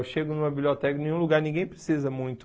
Eu chego numa biblioteca, em nenhum lugar, ninguém precisa muito.